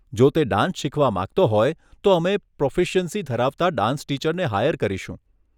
જો તે ડાન્સ શીખવા માંગતો હોય તો અમે પ્રોફિશ્યંશી ધરાવતા ડાન્સ ટીચરને હાયર કરીશું.